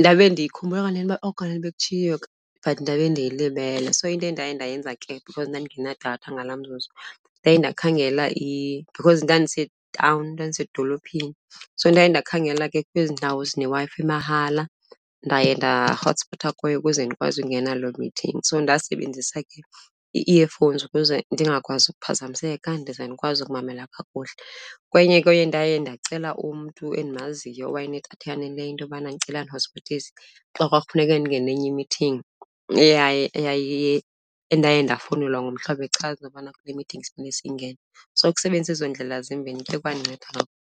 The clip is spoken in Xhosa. Ndabe ndiyikhumbula kanene uba oh kanene bekutshiwo but ndabe ndiyilibele. So into endaye ndayenza ke because ndandingenadatha ngalaa mzuzu, ndaye ndakhangela because ndandisetawuni, ndandisedolophini, so ndaye ndakhangela ke kwezi ndawo zineWi-fi emahala ndaye ndahotspotha kuyo ukuze ndikwazi ungena loo mithingi. So ndasebenzisa ke ii-earphones ukuze ndingakwazi ukuphazamiseka, ndize ndikwazi ukumamela kuhle. Kwenye, kwenye ndaye ndacela umntu endimaziyo owayenedatha eyaneleyo into yobana ndicela andihotspotise xa kwakufuneke ndingene enye imithingi endaye ndafowunelwa ngumhlobo echaza ukubana kunemithingi esifuneka siyingene. So ukusebenzisa ezo ndlela zimbini kuye kwandinceda .